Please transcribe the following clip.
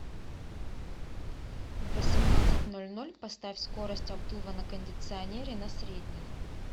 в восемнадцать ноль ноль поставь скорость обдува на кондиционере на средний